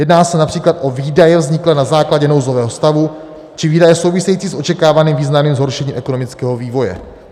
Jedná se například o výdaje vzniklé na základě nouzového stavu či výdaje související s očekávaným významným zhoršením ekonomického vývoje.